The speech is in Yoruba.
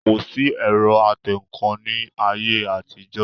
Kò sí ẹ̀rọ atẹǹkan ní ayé àtijọ́